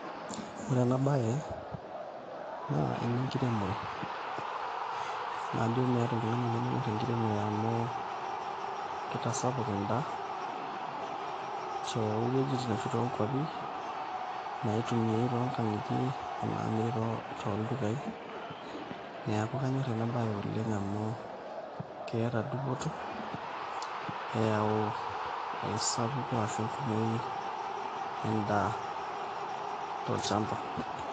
Oore eena baye naa enenkiremore. Najo meeta oltung'ani lemenyor enkiremore amuu keitasapuk en'daa, towuejitin arashu tokwapi, naitumiae tonkang'itie onamiri toldukai, niaku kaanyor eena baye oleng amuu keeta dupoto, eyau, esapuko arashu enkumou en'daa, tolchamba.